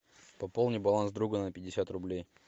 пополни баланс друга на пятьдесят рублей